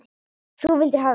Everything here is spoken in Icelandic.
Þú vildir hafa mig með.